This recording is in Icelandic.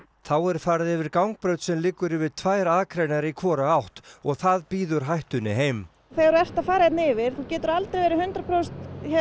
þá er farið yfir gangbraut sem liggur yfir tvær akreinar í hvora átt og það býður hættunni heim þegar þú ert að fara hérna yfir þú getur aldrei verið hundrað prósent